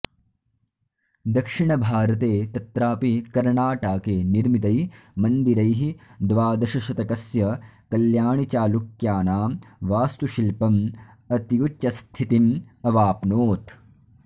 दक्षिणभारते तत्रापि कर्णाटाके निर्मितै मन्दिरैः द्वादशशतकस्य कल्याणिचालुक्यानां वास्तुशिल्पम् अत्युच्चस्थितिम् अवाप्नोत्